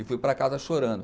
E fui para casa chorando.